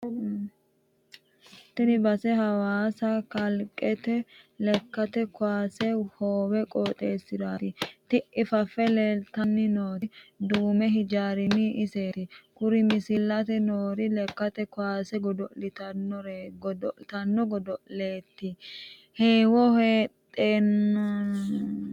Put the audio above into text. Tini base hawaasa kalqete lekkate kaawase hoowe qooxxeesirati, ti"ii fafe leelittanoti duumi hijaariti iseti, kuri milissanni noori lekkate kaawase godo'laanoti godo'lete heewo heedhenansa qixxabbani nooreti.